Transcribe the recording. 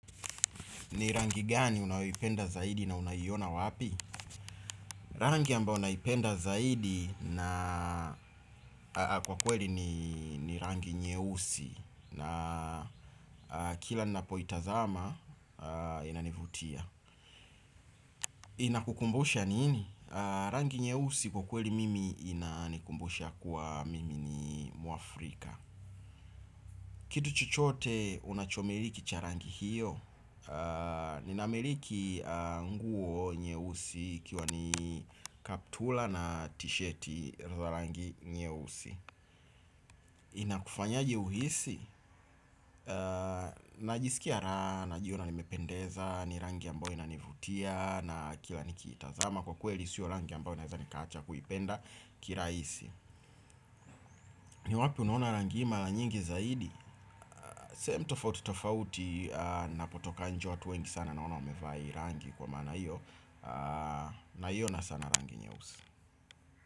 Ni rangi gani unayoipenda zaidi na unaiona wapi? Rangi ambao naipenda zaidi na kwa kweli ni rangi nyeusi na kila ninapoitazama inanivutia. Inakukumbusha nini? Rangi nyeusi kwa kweli mimi inanikumbusha kuwa mimi ni mwafrika. Kitu chochote unachomiliki cha rangi hiyo? Ninamiliki nguo nyeusi ikiwa ni kaptura na tishati za rangi nyeusi. Inakufanyaje uhisi? Najisikia raha, najiona nimependeza, ni rangi ambayo inanivutia na kila nikiitazama kwa kweli sio rangi ambayo naweza nikaacha kuipenda kirahisi. Ni wapi unaona rangi hii mara nyingi zaidi? Sehemu tofauti tofauti ninapotoka nje watu wengi sana naona wamevaa hii rangi kwa maana hiyo. Na hiyo na sana rangi nyeusi.